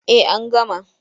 Eh an gama.